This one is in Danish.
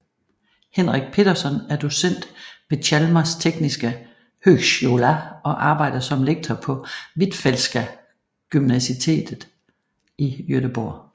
Henrik Petersson er docent ved Chalmers tekniska högskola og arbejder som lektor på Hvitfeldtska Gymnasiet i Göteborg